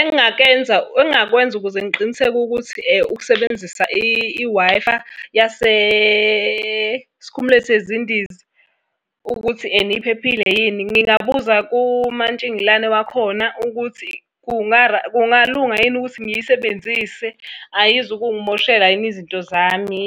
Engingakwenza ukuze ngiqiniseke ukuthi ukusebenzisa i-Wi-Fi yasesikhumulweni sezindiza ukuthi ena iphephile yini ngingabuza kumantshingelane wakhona ukuthi kungalunga yini ukuthi ngiyisebenzise, ayizukungimoshela yini izinto zami.